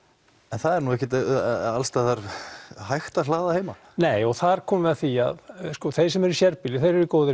en það er ekkert alls staðar hægt að hlaða heima nei og þar komum við að því að þeir sem eru í sérbýli eru í góðum